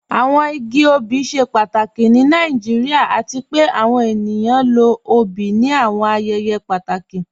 Awọn igi ọbì ṣẹ pàtàkì ni Nàìjíríà, àti pẹ̀ àwọn ènìyàn lọ ọ̀bì ní àwọn ayẹyẹ pàtàkì.